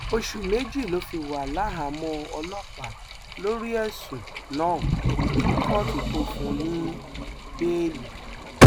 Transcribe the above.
oṣù méjì ló fi wà láhàámọ ọlọpàá lórí ẹsùn náà kí kóòtù tóo fún un ní bẹẹlí